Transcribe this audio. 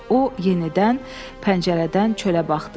O yenidən pəncərədən çölə baxdı.